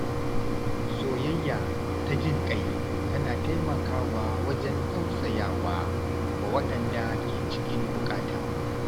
Soyayya ta jin ƙai tana taimaka wa wajen tausaya wa waɗanda ke cikin buƙata.